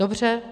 Dobře.